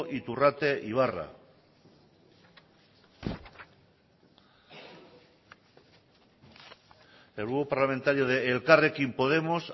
iturrate ibarra el grupo parlamentario de elkarrekin podemos